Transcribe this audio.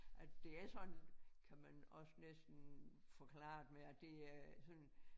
At det er sådan kan man også næsten forklare det med at det øh sådan